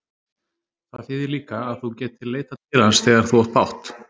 Það þýðir líka að þú getir leitað til hans þegar þú átt bágt.